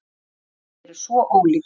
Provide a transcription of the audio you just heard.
Orgelin eru svo ólík.